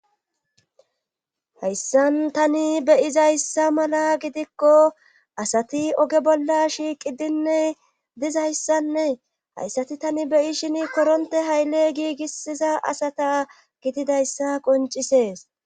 hayssan tani beyizayssa mala gidikko asati oge bolla shiiqi dinne dizayssanee hayssati tani beyi shin koronte hayle giigisiza asata gididayssa qoncisees